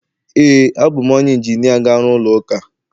ee, abụ m onye injinia ga-arụ ụlọ ụka